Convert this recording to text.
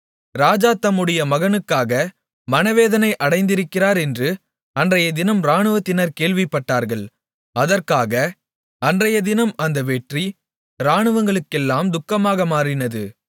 ராஜா தம்முடைய மகனுக்காக மனவேதனை அடைந்திருக்கிறார் என்று அன்றையதினம் இராணுவத்தினர் கேள்விப்பட்டார்கள் அதற்காக அன்றையதினம் அந்த வெற்றி இராணுவங்களுக்கெல்லாம் துக்கமாக மாறினது